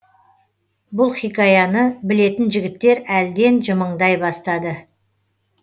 бұл хикаяны білетін жігіттер әлден жымыңдай бастады